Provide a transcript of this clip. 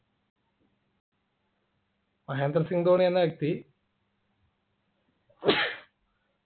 മഹേന്ദ്ര സിംഗ് ധോണി എന്ന വ്യക്തി